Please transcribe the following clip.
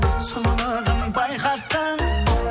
сұлулығын байқатқан